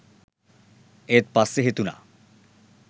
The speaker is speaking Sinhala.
ඒත් පස්සේ හිතුණා